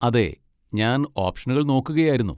അതെ, ഞാൻ ഓപ്ഷനുകൾ നോക്കുകയായിരുന്നു.